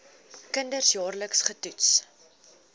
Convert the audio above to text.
kinders jaarliks getoets